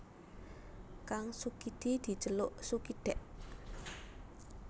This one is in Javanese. Kang Sukidi diceluk Sukidèk